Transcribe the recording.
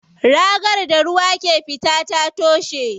Ragar da ruwa ke fita ta toshe.